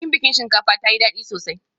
Bikin biki shinkafa tayi dadi sosai